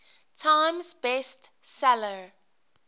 times best seller